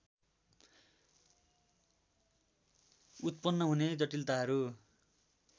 उत्पन्न हुने जटिलताहरू